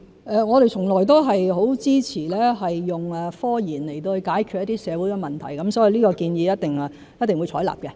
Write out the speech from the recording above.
我們從來都很支持以科研來解決一些社會問題，所以一定會採納這建議。